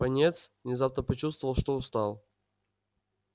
пониетс внезапно почувствовал что устал